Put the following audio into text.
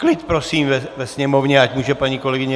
Klid prosím ve Sněmovně, ať může paní kolegyně